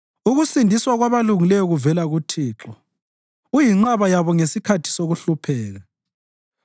Ukusindiswa kwabalungileyo kuvela kuThixo; uyinqaba yabo ngesikhathi sokuhlupheka.